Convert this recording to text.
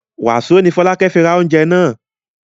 Wàsó ni Fọlákẹ́ fi ra oúnjẹ náà?